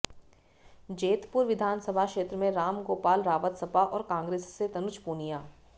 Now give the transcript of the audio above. जैतपुर विधानसभा क्षेत्र में रामगोपाल रावत सपा और कांग्रेस से तनुज पुनिया